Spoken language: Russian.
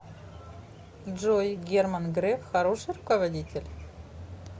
джой герман греф хороший руководитель